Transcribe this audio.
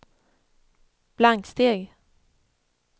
blanksteg